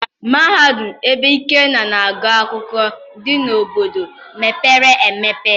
Mahadum ebe Ikenna na-agụ akwụkwọ dị n'obodo mepere emepe.